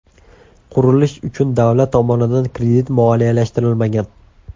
Qurilish uchun davlat tomonidan kredit moliyalashtirilmagan.